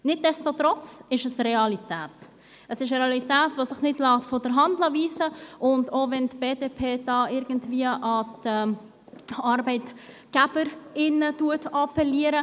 Nichtsdestotrotz ist dies eine Realität, die sich nicht von der Hand weisen lässt, und auch wenn die BDP-Fraktion irgendwie an die Arbeitgeber und Arbeitgeberinnen appelliert.